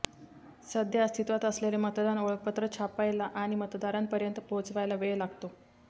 सध्या अस्तित्वात असलेले मतदान ओळखपत्र छापायला आणि मतदारांपर्यंत पोहोचवायला वेळ लागतो